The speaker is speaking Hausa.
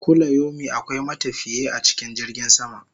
Kulayomi akwai matafiye a cikin jirgin sama